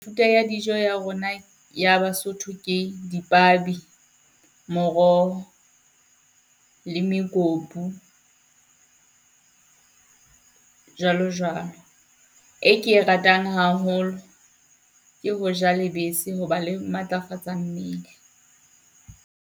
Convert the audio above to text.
Thuto ya dijo ya rona ya Basotho ke dipabi, moroho le mekopu jwalo jwalo. E ke e ratang haholo, ke ho ja lebese, ho ba le matlafatsa mmele.